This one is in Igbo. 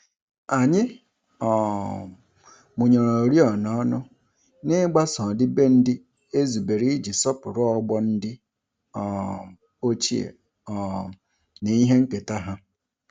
Anyị um mụnyere oriọna ọnụ, n'igbaso ọdịbendị e zubere iji sọpụrụ ọgbọ ndị um ochie um na ihe nketa ha.